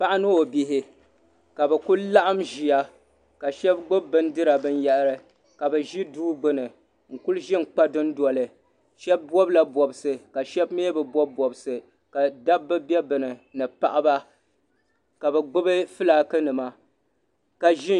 Paɣa ni o bihi ka bi ku laɣim ʒiya ka shɛba gbubi bindira bin yahiri ka bi ʒi duu gbuni n kuli ʒi n kpa dundoli shɛba bɔbi la bɔbsi ka shɛba mi bi bɔbi bɔbsi ka dabba bɛ bi ni ni paɣaba ka bi gbubi filaaki nima ka ʒi.